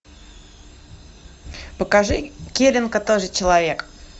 покажи келинка тоже человек